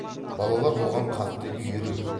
балалар бұған қатты үйір еді